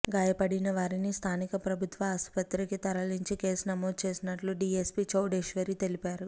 గాయపడిన వారిని స్థానిక ప్రభుత్వ ఆసుపత్రికి తరలించి కేసు నమోదు చేసినట్లు డీఎస్పీ చౌడేశ్వరి తెలిపారు